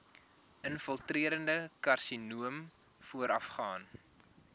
infiltrerende karsinoom voorafgaan